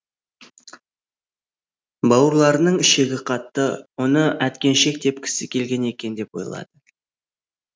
бауырларының ішегі қатты оны әткеншек тепкісі келген екен деп ойлады